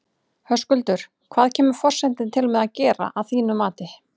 Höskuldur, hvað kemur forsetinn til með að gera að þínu mati?